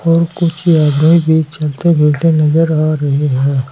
और कुछ आदमी भी चलते फिरते नजर आ रहे हैं।